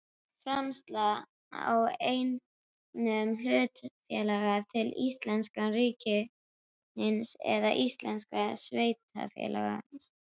Framsal á eignum hlutafélags til íslenska ríkisins eða íslensks sveitarfélags.